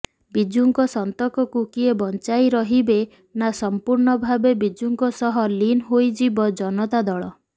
ବିଜୁଙ୍କ ସନ୍ତକକୁ କିଏ ବଂଚାଇ ରହିବେ ନା ସମ୍ପୂର୍ଣ୍ଣଭାବେ ବିଜୁଙ୍କ ସହ ଲିନ ହୋଇଯିବ ଜନତା ଦଳ